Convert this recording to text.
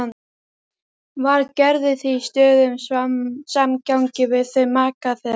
Var Gerður því í stöðugum samgangi við þau, maka þeirra